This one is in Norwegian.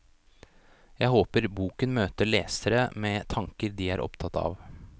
Jeg håper boken møter lesere med tanker de er opptatt av.